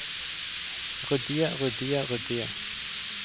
ryddige ryddige ryddige